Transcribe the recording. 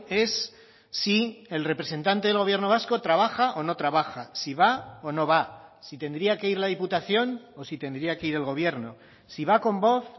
es si el representante del gobierno vasco trabaja o no trabaja si va o no va si tendría que ir la diputación o si tendría que ir el gobierno si va con voz